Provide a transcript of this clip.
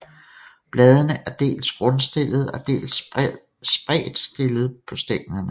Bladene er dels grundstillede og dels spredtstillede på stænglerne